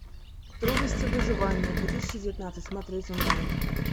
трудности выживания две тысячи девятнадцать смотреть онлайн